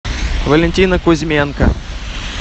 валентина кузьменко